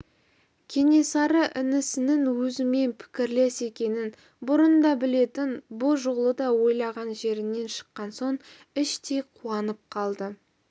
кенесары інісінің өзімен пікірлес екенін бұрын да білетін бұ жолы да ойлаған жерінен шыққан соң іштей қуанып қалды